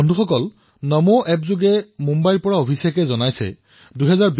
বন্ধুসকল নমো এপত মুম্বাইৰ অভিষেকজীয়ে এটা বাৰ্তা প্ৰেৰণ কৰিছে